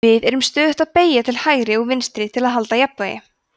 við erum stöðugt að beygja til hægri og vinstri til að halda jafnvægi